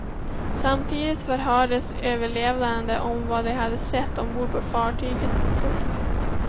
Samtidigt förhördes överlevande om vad de hade sett ombord på fartyget. punkt